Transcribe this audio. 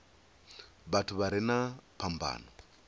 vhathu vha re na phambano